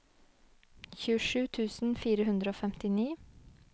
tjuesju tusen fire hundre og femtini